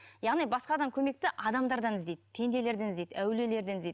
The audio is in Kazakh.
яғни басқадан көмекті адамдардан іздейді пенделерден іздейді әулиелерден іздейді